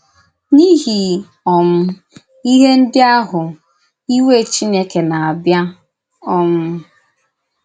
N’ìhì um íhè ndí ahụ, ìwé Chìnèkè na-abìá…. um